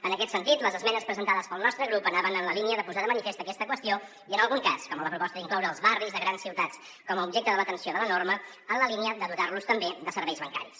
en aquest sentit les esmenes presentades pel nostre grup anaven en la línia de posar de manifest aquesta qüestió i en algun cas com en la proposta d’incloure els barris de grans ciutats com a objecte de l’atenció de la norma en la línia de dotar los també de serveis bancaris